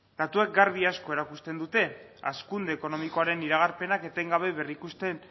datuek garbi asko erakusten dute hazkunde ekonomikoaren iragarpenak etengabe berrikusten